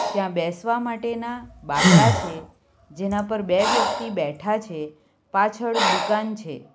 ત્યાં બેસવા માટેના બાંકડા છે જેના પર બે વ્યક્તિ બેઠા છે પાછળ દુકાન છે.